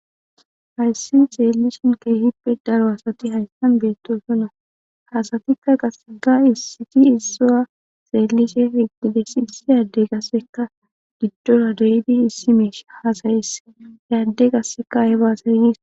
Hayissanni xellishshin kehippe daro asati hayissanni betosona asatikka isetikka isuwa xellishshe issi adeyi qasekka gidora de'iddi issi mishshe hasayises hee adeyi qasekka ayibba hasayi gikko